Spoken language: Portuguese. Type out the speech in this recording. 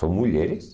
São mulheres.